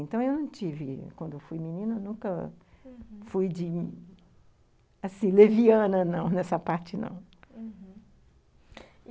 Então, eu não tive, quando fui menina, uhum, nunca fui, de assim, leviana, não, nessa parte, não, uhum. E,